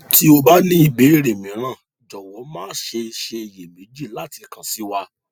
tí o bá ní ìbéèrè mìíràn jọwọ má ṣe ṣe iyèméjì láti kan sí wa